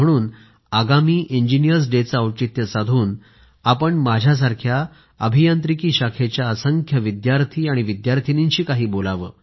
म्हणून आगामी इंजिनीअर्स डेचं औचित्य साधून आपण माझ्यासारख्या अभियांत्रिकी शाखेच्या असंख्य विद्यार्थी आणि विद्यार्थिनींशी काही बोलावे